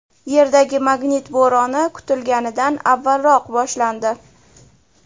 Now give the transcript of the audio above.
Yerdagi magnit bo‘roni kutilganidan avvalroq boshlandi.